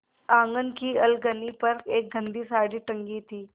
आँगन की अलगनी पर एक गंदी साड़ी टंगी थी